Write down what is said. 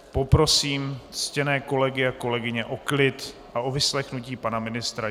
Poprosím ctěné kolegy a kolegyně o klid a o vyslechnutí pana ministra.